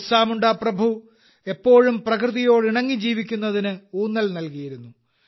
ബിർസ മുണ്ട പ്രഭു എപ്പോഴും പ്രകൃതിയോട് ഇണങ്ങി ജീവിക്കുന്നതിന് ഊന്നൽ നൽകിയിരുന്നു